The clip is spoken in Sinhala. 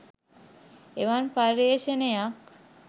එවන් පර්යේෂණයක්